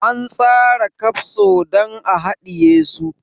An tsara kafso don a hadiye su.